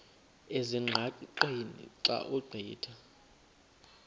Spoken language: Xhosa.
ezingqaqeni xa ugqitha